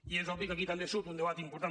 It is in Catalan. i és obvi que aquí també surt un debat important